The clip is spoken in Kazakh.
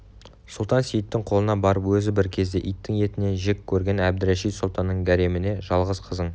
сұлтан-сейіттің қолына барып өзі бір кезде иттің етінен жек көрген әбдірашид сұлтанның гареміне жалғыз қызын